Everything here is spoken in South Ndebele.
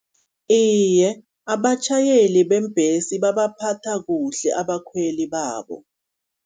Iye, abatjhayeli beembhesi babaphatha kuhle abakhweli babo.